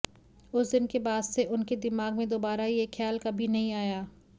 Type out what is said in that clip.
उस दिन के बाद से उनके दिमाग में दोबारा ये ख़्याल कभी नहीं आया